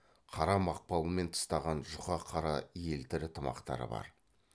қара мақпалмен тыстаған жұқа қара елтірі тымақтары бар